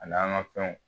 A n'an ka fɛnw